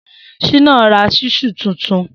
Shina rà ṣísù tútún